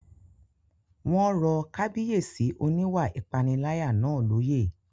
Wọ́n rọ Kábíyèsí oníwà ìpániláyà náà lóyè